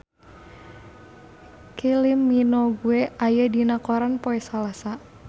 Kylie Minogue aya dina koran poe Salasa